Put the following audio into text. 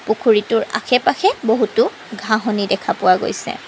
পুখুৰীটোৰ আশে পাশে বহুতো ঘাঁহনি দেখা পোৱা গৈছে।